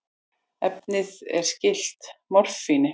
Efnið er skylt morfíni.